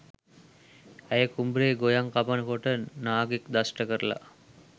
ඇය කුඹුරේ ගොයම් කපන කොට නාගයෙක් දෂ්ට කරලා.